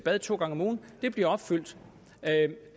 bad to gange om ugen bliver opfyldt